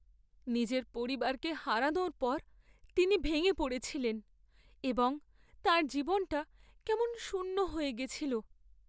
নিজের পরিবারকে হারানোর পর তিনি ভেঙে পড়েছিলেন এবং তাঁর জীবনটা কেমন শূন্য হয়ে গেছিল।